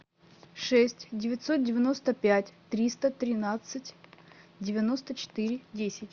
шесть девятьсот девяносто пять триста тринадцать девяносто четыре десять